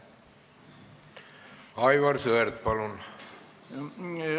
Aivar Sõerd, palun!